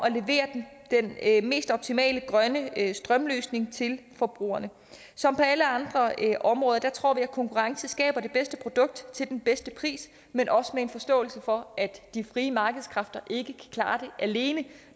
at levere mest optimale grønne strømløsning til forbrugerne som på alle andre områder tror vi at konkurrence skaber det bedste produkt til den bedste pris men også med forståelse for at de frie markedskræfter ikke kan klare det alene